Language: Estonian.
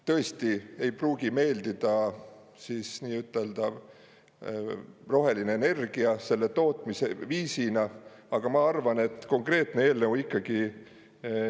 Tõesti ei pruugi meeldida siis nii-ütelda roheline energia selle tootmise viisina, aga ma arvan, et konkreetne eelnõu ikkagi …